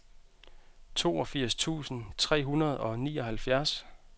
toogfirs tusind tre hundrede og nioghalvfjerds